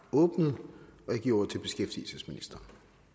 sluttet